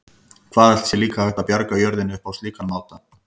Hvað ætli sé líka hægt að bjarga jörðinni upp á slíkan máta?